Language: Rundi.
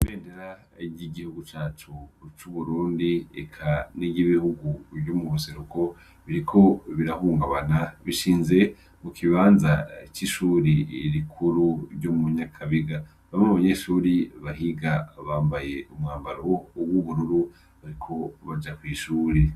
Ibendera ry'igihugu cacu c'Uburundi eka niry'ibihugu vyo mu buseruko biriko birahungabana, bishinze mu kibanza c'ishuri rikuru ryo mu Nyakabiga. Bamwe mu banyeshuri bahiga bambaye umwambaro w'ubururu bariko baja kw'ishure.